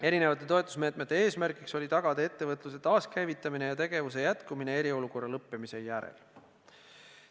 Erinevate toetusmeetmete eesmärk on olnud tagada ettevõtluse taaskäivitamine ja tegevuse jätkumine eriolukorra lõppemise järel.